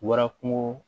Wara kungo